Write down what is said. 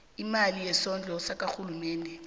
imali yesondlo ekhawunthareni